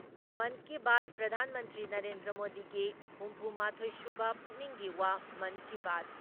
monkey Baat ꯄ꯭ꯔꯙꯥꯟ ꯃꯟꯇ꯭ꯔꯤ ꯅꯔꯦꯟꯗ꯭ꯔ ꯃꯣꯗꯤꯒꯤ ꯍꯨꯝꯐꯨ ꯃꯥꯊꯣꯏ ꯁꯨꯕ ꯄꯨꯛꯅꯤꯡꯒꯤ ꯋꯥ ꯃꯟꯀꯤ ꯕꯥꯠ